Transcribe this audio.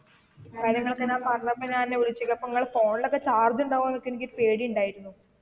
കാര്യങ്ങളൊക്കെ അറിഞ്ഞപ്പോ ഞാൻ വിളിച്ച് അപ്പൊ നിങ്ങളുടെ phone ൽ ഒക്കെ charge ഉണ്ടാകുവോ എന്ന് ഒക്കെ എനിക്ക് ഒരു പേടി ഉണ്ടായിരുന്നു.